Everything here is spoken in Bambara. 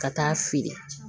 Ka taa feere